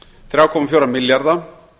þrjá komma fjóra milljarða